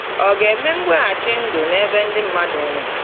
Ọ̀ ga-eme mweghachi ndụ n’ebe ndị mmadụ nwụrụ?